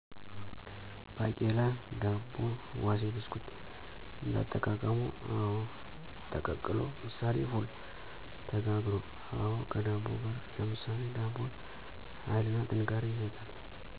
ባቄላ ዳቦ ዋሴ ብስኩት: እንዳጠቃቀሙ :አወ: ተቀቅሎ ምሳሌ ፉል :ተጋግሮ: አወ ከዳቦጋር ለምሳሌ ዳቦ ሀይልና ጥንካሬ ይሰጣል